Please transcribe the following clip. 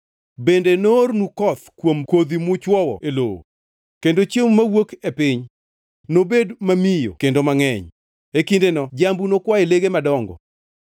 Bende noornu koth kuom kodhi muchwowo e lowo kendo chiemo mawuok e piny nobed mamiyo kendo mangʼeny. E kindeno jambu nokwa e lege madongo.